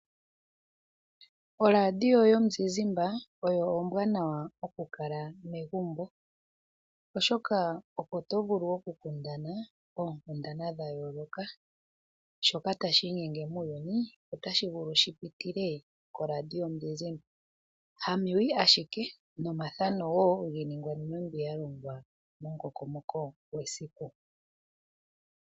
Oradio yomuzizimbe oyo ombwanawa okukala megumbo, oshoka oto vulu okukundana oonkundana dhayooloka. Shoka tashi inyenge muuyuni, otashi vulu shi pitile koRadio yomuzizimbe. Ha mewi ashike, nomathano wo ngono nkene yalongwa momukokomoko gwesiku.